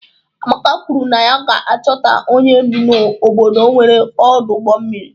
Amaka kwuru na ya ga-achọta onye bi n'obodo nwere ọdụ ụgbọ mmiri.